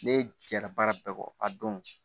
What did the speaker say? Ne jɛra baara bɛɛ kɔ a don